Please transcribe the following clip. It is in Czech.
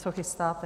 Co chystáte?